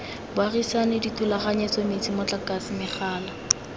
bogaisani dithulaganyetso metsi motlakase megala